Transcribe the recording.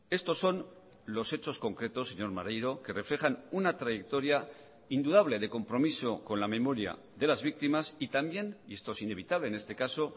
estos son los hechos concretos señor maneiro que reflejan una trayectoria indudable de compromiso con la memoria de las víctimas y también y esto es inevitable en este caso